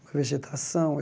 A vegetação.